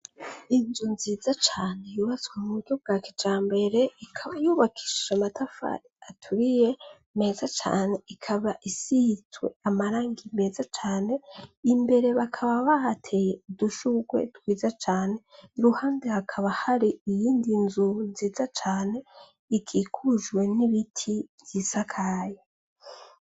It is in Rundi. Inzu nziza cane bibazwe mu buryo bwa kija mbere ikaba yubakishisha matafari aturiye meza cane ikaba isihitswe amaranga meza cane imbere bakaba bahateye udushurwe dwiza cane iruhande hakaba hari iyindi nzu nziza cane igiko hujwe n'ibiti vyisakaya.